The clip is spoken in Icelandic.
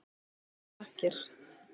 Kærar þakkir.